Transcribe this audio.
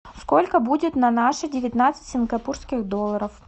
сколько будет на наши девятнадцать сингапурских долларов